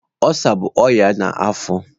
Ulsa bụ ọnya na afọ.